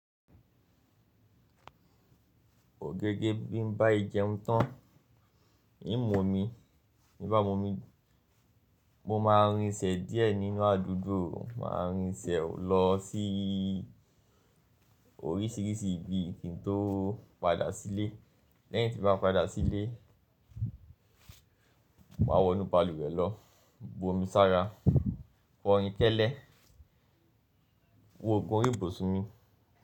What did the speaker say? Ògège bí n bá a jeun tán, i mú omi tí ń bá mú omi, mo máa rinsẹ̀ díẹ̀ nínú àdúgbò, máa rinsẹ̀ lọ sí oríṣìíríṣìí ibi kí n tó padà sílé. Lẹ́yìn tí bá padà sílé, máa wọnú balùwẹ̀ lọ, bu omi sára, kọ rin kẹ́ẹ́lẹ́, wo òògùn orí ibùsùn mi.